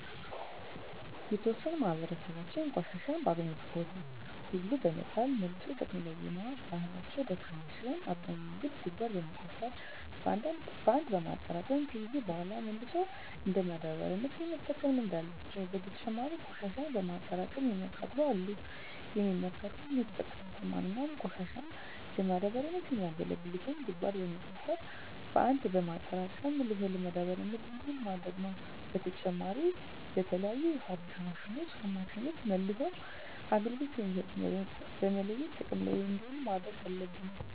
የተዎሰነው የማህበራሰባችን ቆሻሻን በአገኙት ቦታ ሁሉ በመጣል መልሶ ጥቅም ላይ የማዋል ባህላቸው ደካማ ሲሆን አብዛኛው ግን ጉድጓድ በመቆፈር በአንድ በማጠራቀም ከጊዜያት በሗላ መልሰው እንደ ማዳበሪያነት የመጠቀም ልምድ አላቸው። በተጨማሪም ቆሽሻን በማጠራቀም የሚያቃጥሉ አሉ። የሚመከረውም የተጠቀሙትን ማንኛውንም ቆሻሻ ለማዳበሪያነት የሚያገለግሉትን ጉድጓድ በመቆፈር በአንድ በማጠራቀም መልሶ ለማዳበሪያነት እንዲውል ማድረግ ነው። በተጨማሪም በተለያዩ የፋብሪካ ማሽኖች አማካኝነት መልሰው አገልግሎት የሚሰጡትን በመለየት ጥቅም ላይ እንዲውሉ ማድረግ አለብን።